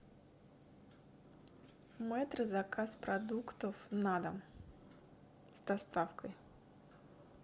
метро заказ продуктов на дом с доставкой